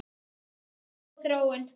Þetta er ekki góð þróun.